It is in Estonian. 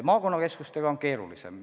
Maakonnakeskustega on keerulisem.